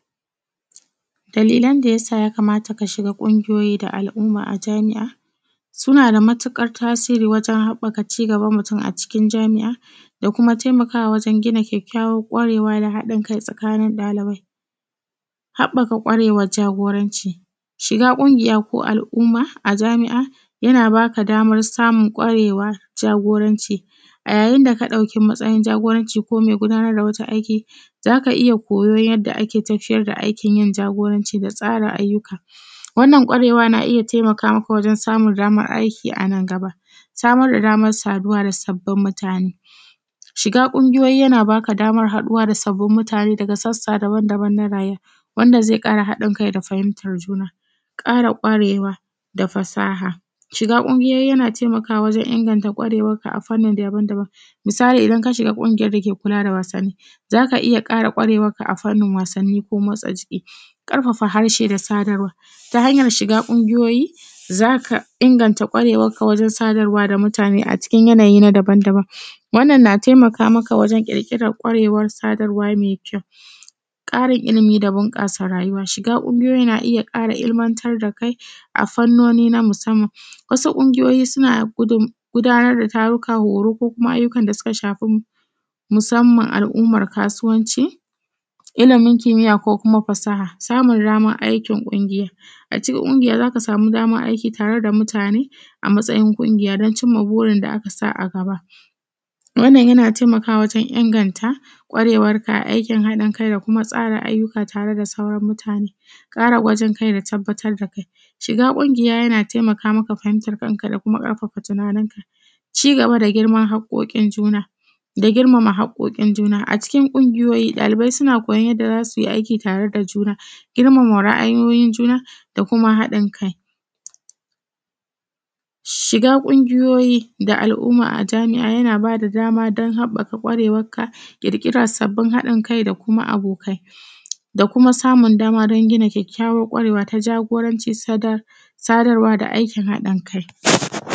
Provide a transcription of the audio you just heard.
Dalilan dayasa ya kamata ka shiga ƙungiyoyi da al’umma a jami’a, suna da matuƙar tasiri wajen haɓaka ci gaban mutum a cikin jami’a, da kuma taimakawa wajen gina kyakkyawan ƙwarewa da haɗin kai tsakanin ɗalibai. Haɓaka ƙwarewar jagoranci: shiga ƙungiya ko al’umma a jami’a, yana baka damar samun ƙwarewar jagoranci, a yayin da ka ɗauki matsayin jagoranci ko mai gudanar da wata aiki, zaka iya koyo yadda ake tafiyar da aikin yin jagoranci da tsara ayyuka, wannan ƙwarewa na iya taimakama ka wajen samun damar aiki anan gaba. Samar da damar saduwa da sabbin mutane: shiga ƙungiyoyi yana baka damar haɗuwa da sabbin mutane daga sassa dabam-dabam na raye, wanda zai kara haɗin kai da fahimtar juna. ƙara ƙwarewa da fasaha: shiga ƙungiyoyi yana taimakawa wajen inganta ƙwarewarka a fani dabam-dabam. Misali, idan ka shiga ƙungiyar da ke kula da wasannin zaka iya ƙwarewarka a fanin wasanin ko motsa jiki. ƙarfafa harshe da sadarwa: ta hanyar shiga ƙungiyoyi zaka inganta ƙwarewarka wajen sadarwa da mutane a cikin yanayi dabam-dabam, wannan na taimaka maka wajen ƙirƙirar ƙwarewar sadarwa me kyau. ƙarin ilimi da bunƙasa rayuwa: shiga ƙungiyoyi na iya kara ilmanta da kai a fannoni na musamman, wasu ƙungiyoyi suna gudanar da taruka horo ko kuma ayyukan da suka shafi musamman al’umman kasuwanci, ilimin kimiya ko kuma fasaha. Samun damar aikin ƙungiya: a cikin ƙungiya zaka samu damar aiki tare da mutane, a matsayin ƙungiya don cimma burin da aka sa a gaba, wannan yana taimakawa wajen inganta ƙwarewarka a aikin haɗin kai da kuma tsara ayyuka tare da sauran mutane. ƙara kwajin kai da tabbatar da kai: shiga ƙungiya yana taimaka maka fahimtar kanka da kuma ƙarfafa tunaninka. Ci gaba da haƙoƙin juna, da girmama haƙoƙin juna:a cikin ƙungiyoyi ɗalibai suna koyon yadda za su yi aiki tare da juna, girmama ra’ayoyin juna, da kuma haɗin kai. Shiga ƙungiyoyi da al’aumma a jami’a yana bada dama don haɓaka ƙwarewarka, ƙirƙirar sabbin haɗin kai da kuma abokai, da kuma samun dama don gina kyakkyawan ƙwarewa ta jagoranci, sa, sadarwa da aiki haɗin kai.